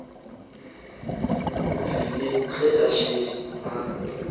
rile ge a šetše a